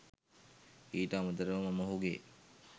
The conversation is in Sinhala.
ඊට අමතරව මම ඔහුගේ